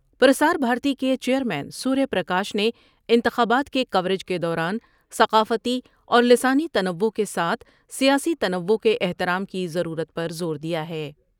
پر سار بھارتی کے chairman Surya Prakash نے انتخابات کے کوریج کے دوران ثقافتی اور لسانی تنوع کے ساتھ سیاسی تنوع کے احترام کی ضرورت پر زور دیا ہے ۔